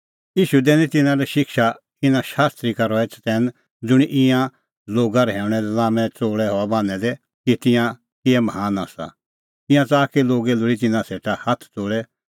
ईशू दैनी तिन्नां लै शिक्षा इना शास्त्री का रहै चतैन ज़ुंणी ईंयां लोगा रहैऊंणा लै लाम्मै च़ोल़ै हआ बान्हैं दै कि तिंयां किहै महान आसा ईंयां च़ाहा कि लोगै लोल़ी तिन्नां सेटा हाथ ज़ोल़ै